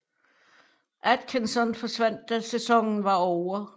Atkinson forsvandt da sæsonen var ovre